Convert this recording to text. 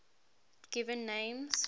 given names